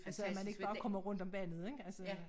Altså at man ikke bare kommer rundt om vandet ik altså